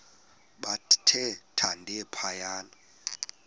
bathe thande phaya